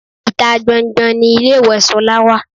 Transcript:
Ìta gban-an gban-an ni ilé ìwẹ̀ Sola wà.